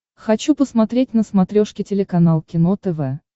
хочу посмотреть на смотрешке телеканал кино тв